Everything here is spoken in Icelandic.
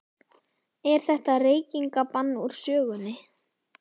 Er þetta reykingabann úr sögunni?